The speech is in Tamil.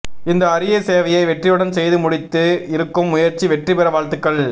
இந்த அறிய சேவையை வெற்றியுடன் செய்து முடித்து இருக்கும் முயற்சி வெற்றி பெற வாழ்த்துகள்